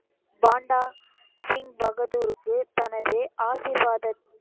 பாண்டா சிங் பகதூருக்கு தனது ஆசீர்வாதத்~